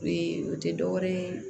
o tɛ dɔwɛrɛ ye